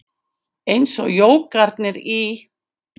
Eins og jógarnir í